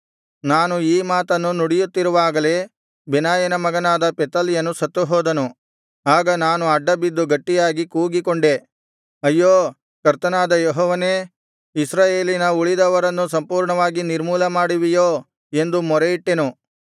ನಾನು ಈ ಮಾತನ್ನು ನುಡಿಯುತ್ತಿರುವಾಗಲೇ ಬೆನಾಯನ ಮಗನಾದ ಪೆಲತ್ಯನು ಸತ್ತುಹೋದನು ಆಗ ನಾನು ಅಡ್ಡಬಿದ್ದು ಗಟ್ಟಿಯಾಗಿ ಕೂಗಿಕೊಂಡೆ ಅಯ್ಯೋ ಕರ್ತನಾದ ಯೆಹೋವನೇ ಇಸ್ರಾಯೇಲಿನಲ್ಲಿ ಉಳಿದವರನ್ನು ಸಂಪೂರ್ಣವಾಗಿ ನಿರ್ಮೂಲಮಾಡುವಿಯೋ ಎಂದು ಮೊರೆಯಿಟ್ಟೆನು